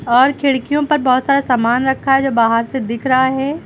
और खिड़कियों पर बहोत सारा सामान रखा है जो बाहर से दिख रहा है।